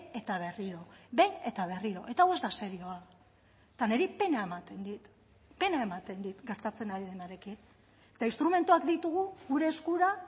eta berriro behin eta berriro eta hau ez da serioa eta niri pena ematen dit pena ematen dit gertatzen ari denarekin eta instrumentuak ditugu gure eskura